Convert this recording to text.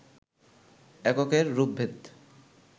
এককের রূপভেদ,